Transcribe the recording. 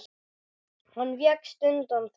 Hann vékst undan því.